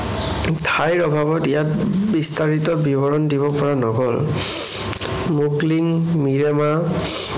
ঠাইৰ অভাৱত ইয়াত বিস্তাৰিত বিৱৰণ দিব পৰা নগল। মুগলীং মিৰেমা